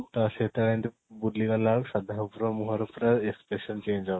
ତ ସେ ଯେତେ ବେଳେ ଏମିତି ବୁଲିଗଲା ବେଳକୁ ଶ୍ରଦ୍ଧା କପୂର ର ମୁହଁ ରୁ ପୁରା expression change ହବ